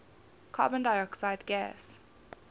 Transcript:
carbon dioxide gas